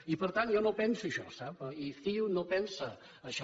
i per tant jo no penso això sap i ciu no pensa això